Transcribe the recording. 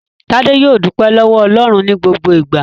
Tádé yóò dúpẹ́ lọ́wọ́ Ọlọ́run ní gbogbo ìgbà.